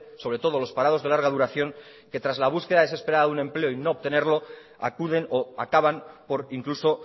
sobre todo de los parados de larga duración que tras la búsqueda desesperada de un empleo y no obtenerlo acuden o acaban por incluso